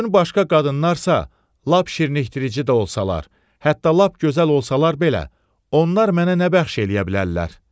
Bütün başqa qadınlarsa, lap şirinləşdirici də olsalar, hətta lap gözəl olsalar belə, onlar mənə nə bəxş eləyə bilərlər?